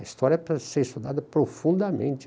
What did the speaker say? A história precisa ser estudada profundamente.